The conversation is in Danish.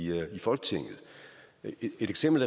her i folketinget et eksempel